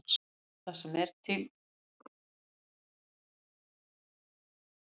Þetta er það sem maður er í fótbolta fyrir.